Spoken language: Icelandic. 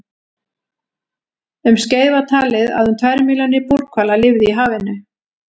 Um skeið var talið að um tvær milljónir búrhvala lifðu í hafinu.